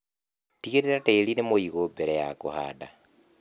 Tigĩrĩra tĩri nĩ mũigũ mbere ya kũhanda.